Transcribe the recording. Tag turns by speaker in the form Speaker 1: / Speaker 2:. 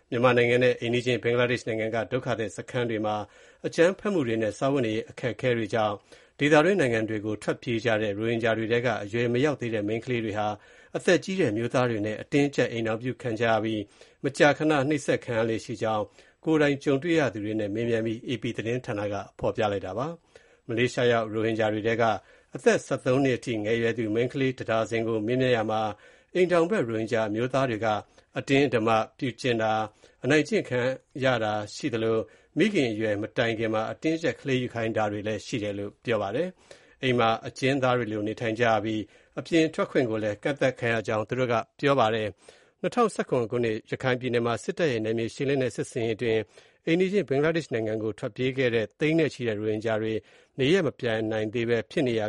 Speaker 1: မြန်မာနိုင်ငံနဲ့ အိမ်နီးချင်း ဘင်္ဂလားဒေ့ရှ် နိုင်ငံက ဒုက္ခသည်စခန်းတွေမှာ အကြမ်းဖက်မှုတွေနဲ့ စားဝတ်နေရေး အခက်အခဲတွေကြောင့် ဒေသတွင်းနိုင်ငံတွေကို ထွက်ပြေးကြတဲ့ ရိုဟင်ဂျာတွေထဲက အရွယ်မရောက်သေးတဲ့ မိန်းကလေးတွေဟာ အသက်ကြီးတဲ့ အမျိုးသားတွေနဲ့ အတင်းအကျပ် အိမ်ထောင်ပြုခံကြရပြီး မကြာခဏ နှိပ်စက်ခံရလေ့ရှိကြောင်း ကိုယ်တိုင်ကြုံရသူတွေနဲ့ မေးမြန်းပြီး AP သတင်းက ဖော်ပြလိုက်ပါတယ်။ မလေးရှားရောက် ရိုဟင်ဂျာတွေထဲက အသက် ၁၃ နှစ်အပါအဝင် ငယ်ရွယ်သူ မိန်းကလေး ၁ ဒါဇင်ကို မေးမြန်းရာမှာ အိမ်ထောင်ဖက် ရိုဟင်ဂျာ အမျိုးသားတွေက အတင်းအဓမ္မပြုကျင့်တာ၊ အနိုင်ကျင့်တာခံကျရသလို မိခင်အရွယ်မတိုင်ခင်မှာ အတင်းအကျပ် ကလေးယူခိုင်းတာတွေ ရှိတယ်လို့ ပြောပါတယ်။ အိမ်မှာအကျဉ်းသားတွေလို နေထိုင်ကြရပြီး အပြင်ထွက်ခွင့်ကိုလည်း ကန့်သတ်ခံရကြောင်း ပြောဆိုခဲ့ကြတာပါ။ ၂၀၁၇ ခုနှစ် ရခိုင်ပြည်နယ်မှာ စစ်တပ်ရဲ့ နယ်မြေရှင်းလင်းတဲ့ စစ်ဆင်ရေးအတွင်း အိမ်နီးချင်း ဘင်္ဂလားဒေ့ရှ်နိုင်ငံကို ထွက်ပြေးခဲ့ကြတဲ့ သိန်းနဲ့ချီတဲ့ ရိုဟင်ဂျာတွေ နေရပ်မပြန်နိုင်ဘဲ ဖြစ်နေရ